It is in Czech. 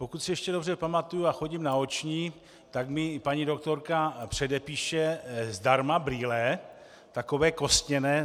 Pokud si ještě dobře pamatuji, a chodím na oční, tak mi paní doktorka předepíše zdarma brýle, takové kostěné.